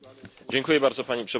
Pani Przewodnicząca!